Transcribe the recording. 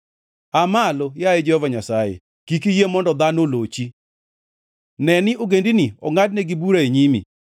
Aa malo, yaye Jehova Nyasaye, kik iyie mondo dhano olochi; ne ni ogendini ongʼadnegi bura e nyimi.